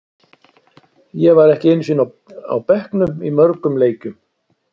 Ég var ekki einu sinni á bekknum í mörgum leikjum.